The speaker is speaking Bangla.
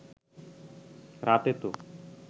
রাতে তো